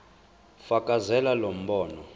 fakazela lo mbono